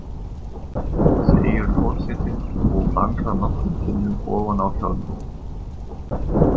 segir forsetinn og bankar nokkrum sinnum ofan á hjálminn sinn.